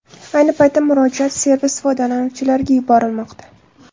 Ayni paytda murojaat servis foydalanuvchilariga yuborilmoqda.